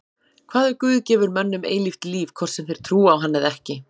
Hvað ef Guð gefur mönnum eilíft líf hvort sem þeir trúa á hann eða ekki?